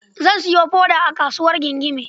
Zan sayo foda a kasuwar Gingime.